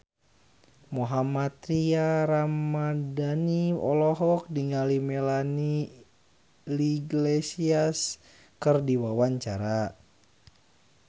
Mohammad Tria Ramadhani olohok ningali Melanie Iglesias keur diwawancara